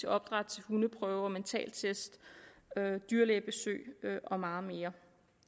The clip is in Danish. opdræt til hundeprøver mentaltest dyrlægebesøg og meget mere